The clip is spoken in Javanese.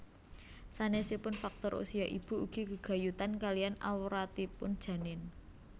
Sanésipun faktor usia ibu ugi gegayutan kaliyan awratipun janin